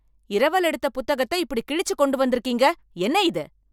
இரவல் எடுத்த புத்தகத்த இப்படி கிழிச்சு கொண்டு வந்துருக்கீங்க. என்ன இது.